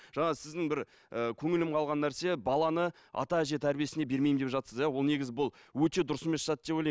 жаңа сіздің бір ііі көңілім қалған нәрсе баланы ата әже тәрбиесіне бермеймін деп жатырсыз иә ол негізі бұл өте дұрыс емес зат деп ойлаймын